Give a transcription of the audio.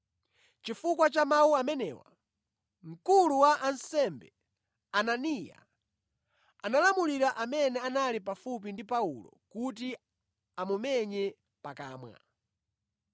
Chifukwa cha mawu amenewa, mkulu wa ansembe Ananiya analamulira amene anali pafupi ndi Paulo kuti amumenye pakamwa.